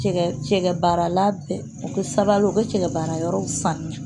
Cɛkɛ baara la u bɛ sabali u bɛ cɛkɛ baara yɔrɔw sanuya